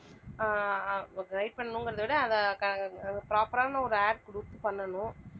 ஆஹ் அஹ் guide பண்ணணுங்கிறதை விட அதை proper ஆன ஒரு ad கொடுத்து பண்ணணும்.